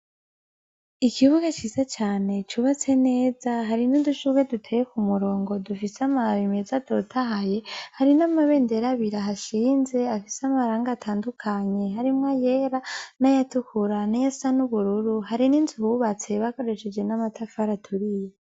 Ikibuga ciza cane cubatse neza, hari n'udushurwe duteye kumurongo, dufise amababi meza atotahaye, hari n'amabendera abiri ahashinze, afise amarangi atandukanye, harimwo ayera, n'ayatukura, n'ayasa n'ubururu, hari n'inzu bubatse bakoresheje n'amatafati aturiye.